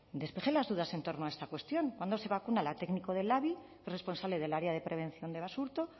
despeje las dudas en torno a esta cuestión cuándo se vacuna la técnico del labi qué responsable del área de prevención de basurto